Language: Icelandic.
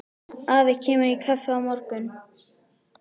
Afi kemur í kaffi á morgun.